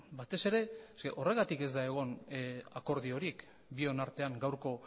batez ere eske horregatik ez da egon akordiorik bion artean gaurko